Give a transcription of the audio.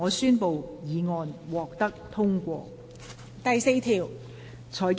我宣布議案獲得通過。